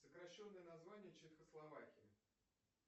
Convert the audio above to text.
сокращенное название чехословакии